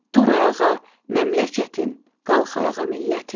Dur ayağa məmləkətim, qalx ayağa millətim.